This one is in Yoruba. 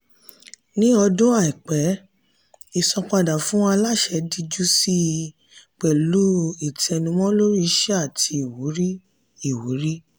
ní ọdún àìpẹ́ ìsanpadà fún aláṣẹ díjú síi pẹ̀lú ìtẹnumọ́ lórí iṣẹ́ àti ìwúrí. ìwúrí.